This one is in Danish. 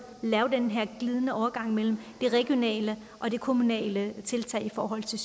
lave den her glidende overgang mellem de regionale og de kommunale tiltag i forhold til